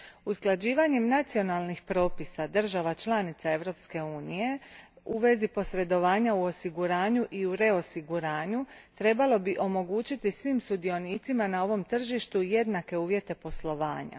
Usklađivanjem nacionalnih propisa država članica Europske unije u vezi posredovanja u osiguranju i u reosiguranju trebalo bi omogućiti svim sudionicima na ovom tržištu jednake uvjete poslovanja.